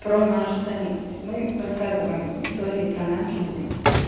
про нас же самих то есть мы рассказываем истории про нас людям